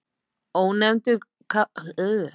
Ónefndur karlmaður: Hvað segið þið um það?